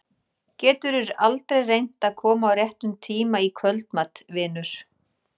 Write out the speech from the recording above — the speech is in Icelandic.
Geturðu aldrei reynt að koma á réttum tíma í kvöldmat, vinur?